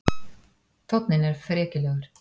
Tónninn er frekjulegur.